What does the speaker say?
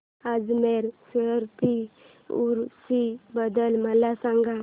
अजमेर शरीफ उरूस बद्दल मला सांग